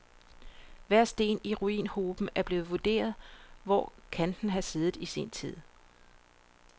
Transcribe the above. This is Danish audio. Hver sten i ruinhoben er blevet vurderet, hvor kan den have siddet i sin tid.